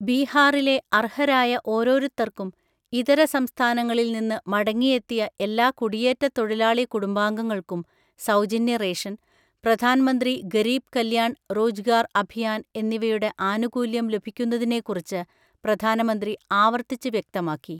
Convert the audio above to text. ബീഹാറിലെ അർഹരായ ഓരോരുത്തർക്കും, ഇതര സംസ്ഥാനങ്ങളില് നിന്ന് മടങ്ങിയെത്തിയ എല്ലാ കുടിയേറ്റ തൊഴിലാളി കുടുംബങ്ങൾക്കും സൗജന്യ റേഷൻ, പ്രധാൻ മന്ത്രി ഗരീബ് കല്യാൺ റോജ്ഗാർ അഭിയാൻ എന്നിവയുടെ ആനുകൂല്യം ലഭിക്കുന്നതിനെക്കുറിച്ച് പ്രധാനമന്ത്രി ആവർത്തിച്ച് വ്യക്തമാക്കി.